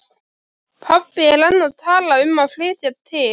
Pabbi er enn að tala um að flytja til